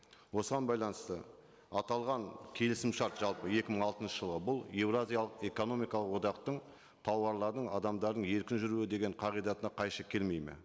осыған байланысты аталған келісімшарт жалпы екі мың алтыншы жылы бұл еуразиялық экономикалық одақтың тауарлардың адамдардың еркін жүруі деген қағидатына қайшы келмейді ме